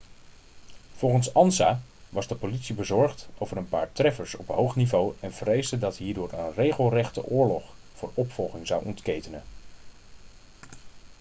volgens ansa was de politie bezorgd over een paar treffers op hoog niveau en vreesde dat hierdoor een regelrechte oorlog voor opvolging zou ontketenen